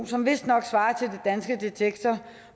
som vistnok svarer til det danske detektor